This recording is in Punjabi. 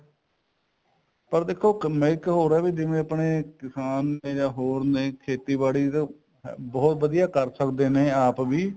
ਪਰ ਦੇਖੋ ਜਿਵੇਂ ਆਪਣੇ ਕਿਸਾਨ ਨੇ ਜਾਂ ਹੋਰ ਨੇ ਖੇਤੀਬਾੜੀ ਦਾ ਬਹੁਤ ਵਧੀਆ ਕਰ ਸਕਦੇ ਨੇ ਆਪ ਵੀ